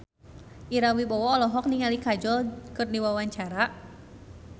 Ira Wibowo olohok ningali Kajol keur diwawancara